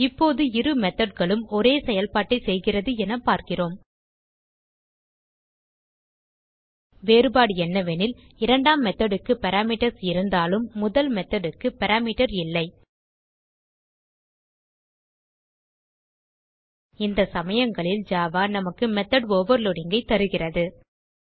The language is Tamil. இப்போது இரு methodகளும் ஒரே செயல்பாட்டை செய்கிறது என பார்க்கிறோம் வேறுபாடு என்னவெனில் இரண்டாம் methodக்கு பாராமீட்டர்ஸ் இருந்தாலும் முதல் methodக்கு பாராமீட்டர் இல்லை இந்த சமயங்களில் ஜாவா நமக்கு மெத்தோட் overloadingஐ தருகிறது